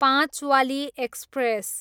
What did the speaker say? पाँचवाली express